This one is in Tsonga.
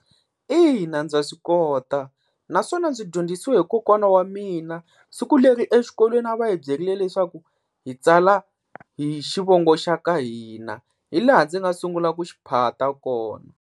Ina ndza swi kota naswona ndzi dyondzisiwe hi kokwana wa mina siku leri exikolweni a va hi byerile leswaku hi tsala hi xivongo xa ka hina, hi laha ndzi nga sungula ku xiphata kona.